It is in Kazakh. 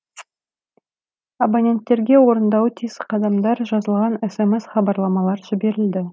абоненттерге орындауы тиіс қадамдар жазылған смс хабарламалар жіберілді